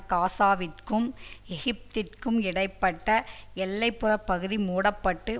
காசாவிற்கும் எகிப்திற்கும் இடை பட்ட எல்லை புற பகுதி மூடப்பட்டு